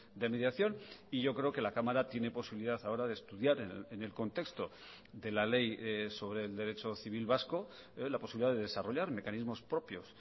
de mediación y yo creo que la cámara tiene posibilidad ahora de estudiar en el contexto de la ley sobre el derecho civil vasco la posibilidad de desarrollar mecanismos propios